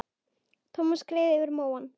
Thomas skreið yfir móann.